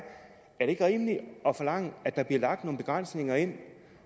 er det ikke rimeligt at forlange at der bliver lagt nogle begrænsninger ind